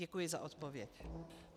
Děkuji za odpověď.